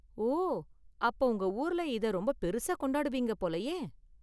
ஓ, அப்போ உங்க ஊர்ல இதை ரொம்ப பெருசா கொண்டாடுவீங்க போலயே?